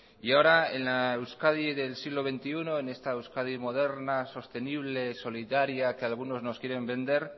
y ahora en la euskadi del siglo veintiuno en esta euskadi moderna sostenible solidaria que algunos nos quieren vender